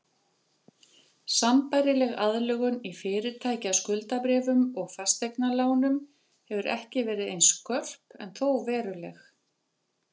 Sambærileg aðlögun í fyrirtækjaskuldabréfum og fasteignalánum hefur ekki verið eins skörp en þó veruleg.